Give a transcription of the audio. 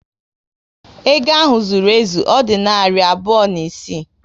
Ego ahụ zụrụ ezu, Ọ dị narị abụọ na isii